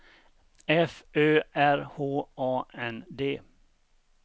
F Ö R H A N D